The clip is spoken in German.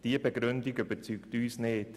Diese Begründung überzeugt uns nicht.